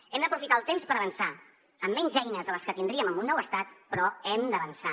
hem d’aprofitar el temps per avançar amb menys eines de les que tindríem amb un nou estat però hem d’avançar